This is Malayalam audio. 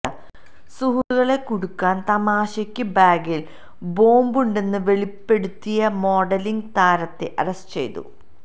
സുഹൃത്തുക്കളെ കുടുക്കാൻ തമാശയ്ക്ക് ബാഗിൽ ബോംബുണ്ടെന്ന് വെളിപ്പെടുത്തിയ മോഡലിങ് താരത്തെ അറസ്റ്റ് ചെയ്തു